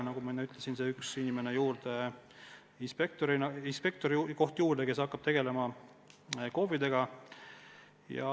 Nagu ma enne ütlesin, võetakse tööle inspektor, kes hakkab tegelema KOV-idega.